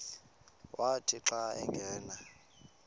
wathi xa angena